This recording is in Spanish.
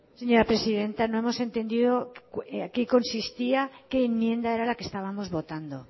señora presidenta no hemos entendido en qué consistía qué enmienda era la que estábamos votando